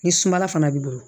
Ni sumala fana b'i bolo